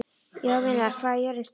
Jovina, hvað er jörðin stór?